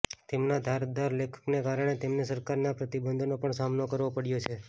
તેમના ધારદાર લેખનને કારણે તેમને સરકારના પ્રતિબંધોનો પણ સામનો કરવો પડ્યો છે